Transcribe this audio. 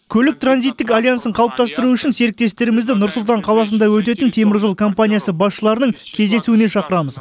көлік транзиттік альянсын қалыптастыру үшін серіктестерімізді нұр сұлтан қаласында өтетін теміржол компаниясы басшыларының кездесуіне шақырамыз